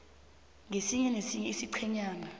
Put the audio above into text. kesinye nesinye isiqhenyana